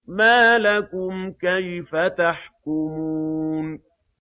مَا لَكُمْ كَيْفَ تَحْكُمُونَ